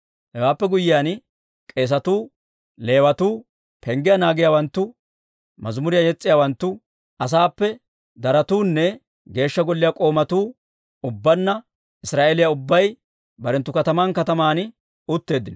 Hewaappe guyyiyaan k'eesatuu, Leewatuu, penggiyaa naagiyaawanttu, mazimuriyaa yes's'iyaawanttu, asaappe darotuunne Geeshsha Golliyaa k'oomatuu, ubbaanna Israa'eeliyaa ubbay barenttu kataman kataman utteeddino.